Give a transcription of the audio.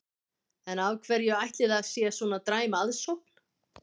En af hverju ætli að það sé svona dræm aðsókn?